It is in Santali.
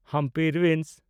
ᱦᱟᱢᱯᱤ ᱨᱩᱭᱤᱱᱥ